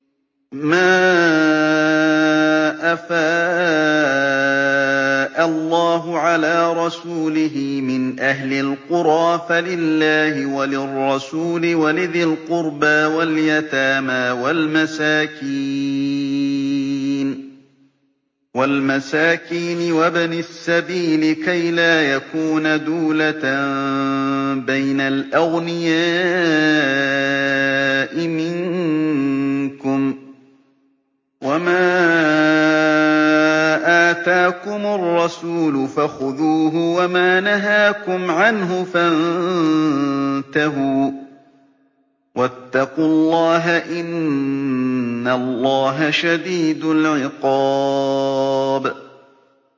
مَّا أَفَاءَ اللَّهُ عَلَىٰ رَسُولِهِ مِنْ أَهْلِ الْقُرَىٰ فَلِلَّهِ وَلِلرَّسُولِ وَلِذِي الْقُرْبَىٰ وَالْيَتَامَىٰ وَالْمَسَاكِينِ وَابْنِ السَّبِيلِ كَيْ لَا يَكُونَ دُولَةً بَيْنَ الْأَغْنِيَاءِ مِنكُمْ ۚ وَمَا آتَاكُمُ الرَّسُولُ فَخُذُوهُ وَمَا نَهَاكُمْ عَنْهُ فَانتَهُوا ۚ وَاتَّقُوا اللَّهَ ۖ إِنَّ اللَّهَ شَدِيدُ الْعِقَابِ